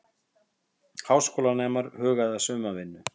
Háskólanemar huga að sumarvinnu